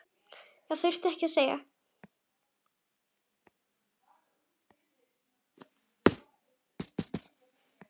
Það þurfti ekkert að segja.